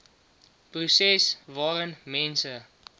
proses waarin mense